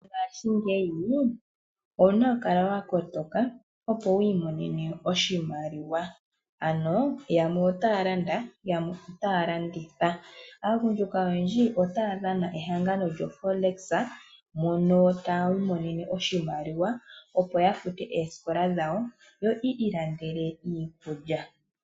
Mongaashingeyi owu na okukala wa kotoka opo wiimonene oshimaliwa ano yamwe otaya landa, yamwe otaya landitha. Aagundjuka oyendji otaya dhana ehangano lyoForex moka haya imonenemo oshimaliwa opo ya fute oosikola dhawo yo yiilandele iiikulya.